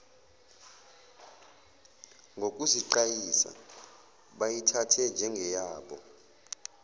ngokuziqayisa bayithathe njengeyabo